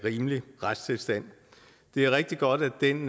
rimelig retstilstand det er rigtig godt at den